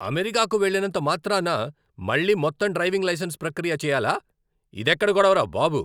అమెరికాకు వెళ్లినంతమాత్రాన్న మళ్లీ మొత్తం డ్రైవింగ్ లైసెన్స్ ప్రక్రియ చేయాలా? ఇదెక్కడి గోడవరా బాబు!